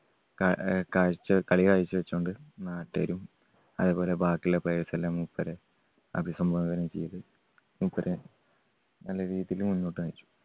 കാ അഹ് കാഴ്ച്ച കളി കാഴ്ച്ച വെച്ചകൊണ്ട് നാട്ടുകാരും അതുപോലെ ബാക്കിയുള്ള players എല്ലാം മൂപ്പരെ അഭിസംബോധന ചെയ്ത് മൂപ്പരെ നല്ല രീതിയില് മുന്നോട്ട് നയിച്ചു.